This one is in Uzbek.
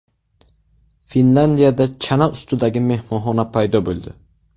Finlyandiyada chana ustidagi mehmonxona paydo bo‘ldi.